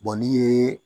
n'i ye